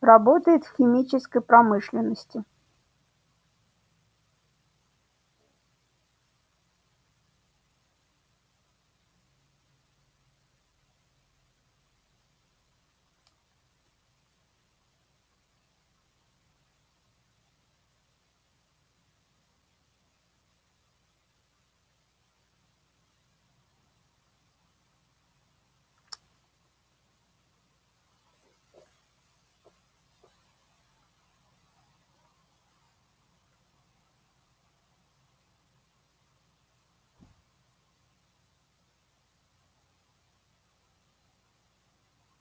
работает в химической промышленности